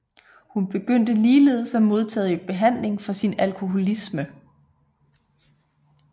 Hun begyndte ligeledes at modtage behandling for sin alkoholisme